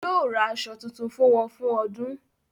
Yóò ra aṣọ tuntun fún wọn fún ọdún.